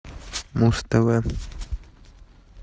муз тв